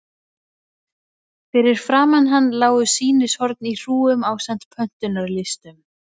Fyrir framan hann lágu sýnishorn í hrúgum ásamt pöntunarlistum.